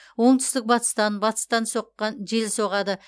оңтүстік батыстан батыстан соққан жел соғады